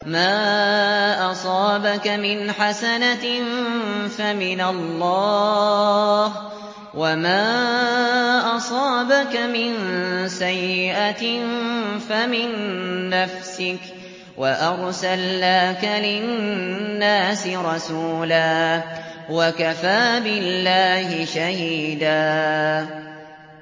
مَّا أَصَابَكَ مِنْ حَسَنَةٍ فَمِنَ اللَّهِ ۖ وَمَا أَصَابَكَ مِن سَيِّئَةٍ فَمِن نَّفْسِكَ ۚ وَأَرْسَلْنَاكَ لِلنَّاسِ رَسُولًا ۚ وَكَفَىٰ بِاللَّهِ شَهِيدًا